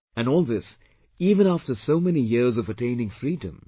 And all this even after so many years of attaining freedom